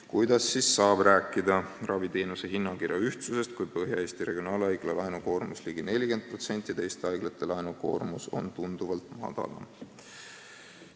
Kuidas siis saab rääkida raviteenuse hinnakirja ühtsusest, kui SA Põhja-Eesti Regionaalhaigla laenukoormus on ligi 40%, teiste haiglate laenukoormus on tunduvalt madalam?